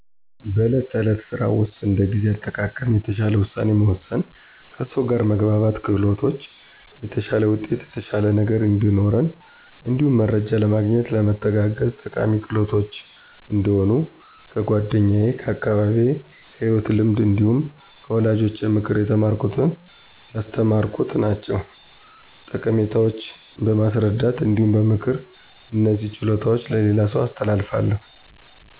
በዕለት ተዕለት ስራ ውስጥ እንደ ጊዜ አጠቃቀም፣ የተሻለ ውሳኔ መወሰን፣ ከሰው ጋር መግባባት ክህሎቶች የተሻለ ውጤት የተሻለ ነገ እዲኖረን እንዲሁም መረጃ ለማግኘት ለመተጋገዝ ጠቃሚ ክህሎቶች እንደሆኑ ከ ጓደኛ ከ አካባቢየ ከ ሂወት ልምድ እንዲሁም ከ ወላጆቼ ምክር የተማረኩት ያስተማሩ ናቸዉ። ጠቀሜታቸው በማስረዳት እንዲሁም በ ምክር እነዚህን ችሎታዎች ለሌላ ሰው አስተላልፋለሁ።